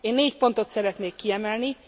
Én négy pontot szeretnék kiemelni.